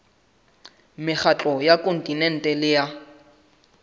mekgatlo ya kontinente le ya